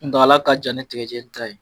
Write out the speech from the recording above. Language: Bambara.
Kuntaala ka jan ni tigajeni ta ye